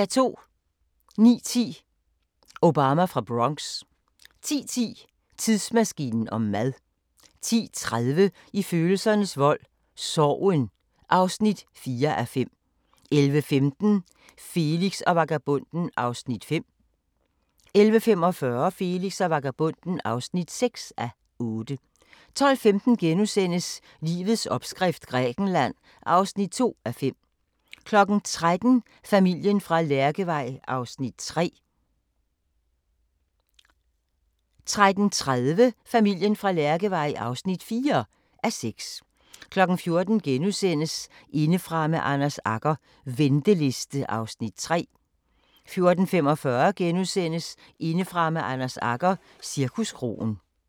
09:10: Obama fra Bronx 10:10: Tidsmaskinen om mad 10:30: I følelsernes vold – Sorgen (4:5) 11:15: Felix og vagabonden (5:8) 11:45: Felix og vagabonden (6:8) 12:15: Livets opskrift – Grækenland (2:5)* 13:00: Familien fra Lærkevej (3:6) 13:30: Familien fra Lærkevej (4:6) 14:00: Indefra med Anders Agger - venteliste (Afs. 3)* 14:45: Indefra med Anders Agger – Cirkuskroen *